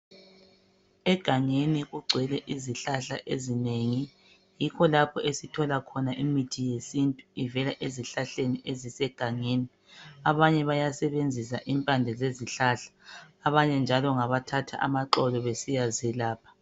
Egangeni kugcwele izihlahla ezinengi yikho lapho esithola khona imiti yesintu ivela ezihlahleni ezisegangeni. Abanye basebenzisa imphande zezihlahla, abanye njalo ngabathatha amaxolo besiyazelapha.